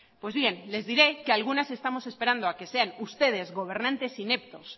pues bien les diré que algunas estamos esperando a que sean ustedes gobernantes ineptos